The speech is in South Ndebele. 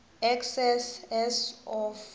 excess as of